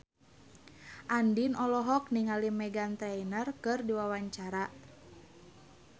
Andien olohok ningali Meghan Trainor keur diwawancara